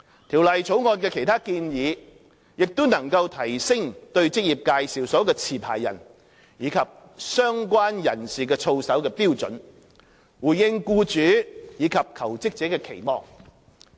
《條例草案》的其他建議亦能提升對職業介紹所的持牌人及相關人士的操守的標準，回應僱主及求職者的期望。